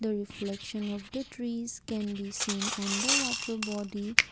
Reflection of the trees can be seen on the water body.